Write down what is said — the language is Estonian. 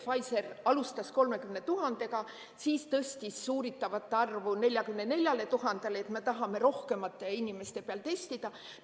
Pfizer ütles, et alustas 30 000-ga, siis tõstis uuritavate arvu 44 000-le, sest tahavad rohkemate inimeste peal testida.